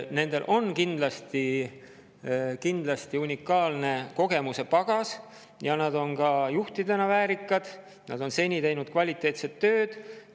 Nendel on kindlasti unikaalne kogemustepagas ja nad on juhtidena väärikad, nad on teinud kvaliteetset tööd.